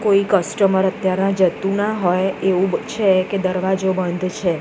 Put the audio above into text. કોઈ કસ્ટમર અત્યારે જતુ ના હોય એવુ છે કે દરવાજો બંધ છે.